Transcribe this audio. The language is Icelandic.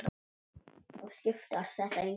Þá skiptir þetta engu máli.